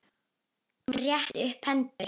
Hún rétti upp hendur.